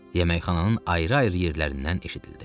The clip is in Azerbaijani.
Yeməkxananın ayrı-ayrı yerlərindən eşidildi.